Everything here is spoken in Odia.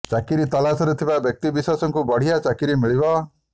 ଚାକିରି ତଲାସରେ ଥିବା ବ୍ୟକ୍ତି ବିଶେଷଙ୍କୁ ବଢିଆ ଚାକିରି ମିଳିବ